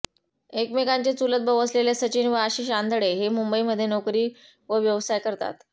एकमेकांचे चुलत भाऊ असलेले सचिन व आशिष आंधळे हे मुंबईमध्ये नोकरी व व्यवसाय करतात